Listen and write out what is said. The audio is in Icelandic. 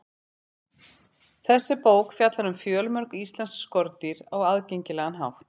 Þessi bók fjallar um fjölmörg íslensk skordýr á aðgengilegan hátt.